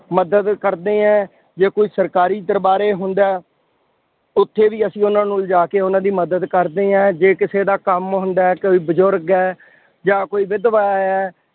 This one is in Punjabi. ਮਦਦ ਕਰਦੇ ਹਾਂ। ਜੇ ਕੋਈ ਸਰਕਾਰੀ ਦਰਬਾਰੇ ਹੁੰਦਾ, ਉੱਥੇ ਵੀ ਅਸੀਂ ਉਹਨਾ ਨੂੰ ਲਿਜਾ ਕੇ ਉਹਨਾ ਦੀ ਮਦਦ ਕਰਦੇ ਹਾਂ। ਜੇ ਕਿਸੇ ਦਾ ਕੰਮ ਹੁੰਦਾ, ਕੋਈ ਬਜ਼ੁਰਗ ਹੈ, ਜਾਂ ਕੋਈ ਵਿਧਵਾ ਹੈ.